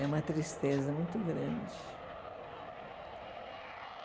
É uma tristeza muito grande.